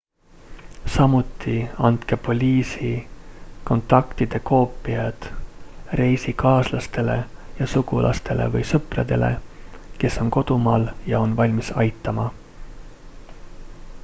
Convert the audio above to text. samuti andke poliisi/kontaktide koopiad reisikaaslastele ja sugulastele või sõpradele kes on kodumaal ja on valmis aitama